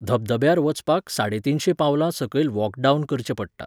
धबधब्यार वचपाक साडेतीनशें पावलां सकयल वॉक डावन करचें पडटा.